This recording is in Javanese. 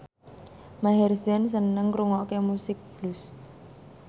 Maher Zein seneng ngrungokne musik blues